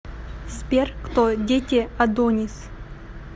сбер кто дети адонис